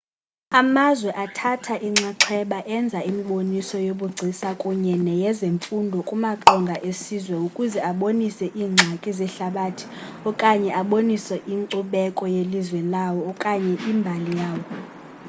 amazwe athatha inxaxheba enza imiboniso yobugcisa kunye neyezemfundo kumaqonga esizwe ukuze abonise iingxaki zehlabathi okanye abonise inkcubeko yelizwe lawo okanye imbali yawo